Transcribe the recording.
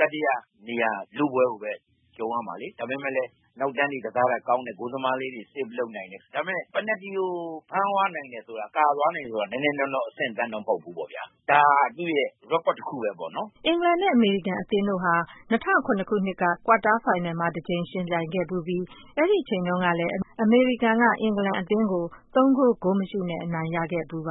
တတိယနေရာ လုပွဲကိုပဲ လုပ်ရမှာလေ။ ဒါပေမယ့်လည်း နောက်တန်းတွေကစားတာကောင်းတယ်။ ဂိုးသမားလေးတွေ save လုပ်နိုင်တယ်။ ဒါပေမယ့် ပယ်နယ်တီကို ဖမ်းသွားနိုင်တယ်ဆိုတာ၊ ကာသွားနိုင်တယ်ဆိုတာ နည်းနည်းနောနောအဆင့်အတန်းတော့ မဟုတ်ဘူးပေါ့ဗျာ။ ဒါဟာ သူ့ရဲ့ record တခုပဲပေ့ါနော်။” အင်္ဂလန်နဲ့ အမေရိကန်အသင်းတို့ဟာ ၂၀၀၇ ခုနှစ်က ကွာတားဖိုင်နယ်မှာ တကြိမ်ယှဉ်ပြိုင်ခဲ့ဖူးပြီး အဲဒီအချိန်တုန်းကလည်း အမေရိကန်က အင်္ဂလန် အမျိုးသမီးအသင်းကို ၃ ဂိုး၊ ဂိုးမရှိနဲ့ အနိုင်ရခဲ့ဖူးပါ